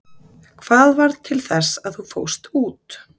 Hvað varð til þess að þú fórst út?